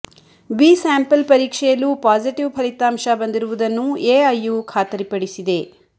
B sample ಪರೀಕ್ಷೆಯಲ್ಲೂ positive ಫಲಿತಾಂಶ ಬಂದಿರುವುದನ್ನು ಎಐಯು ಖಾತರಿ ಪಡಿಸಿದೆ